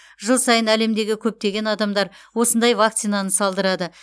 жыл сайын әлемдегі көптеген адамдар осындай вакцинаны салдырады